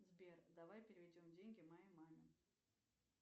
сбер давай переведем деньги моей маме